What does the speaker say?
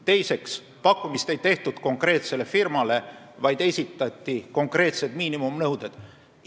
Teiseks, pakkumist ei tehtud konkreetsele firmale, vaid esitati konkreetsed miinimumnõuded.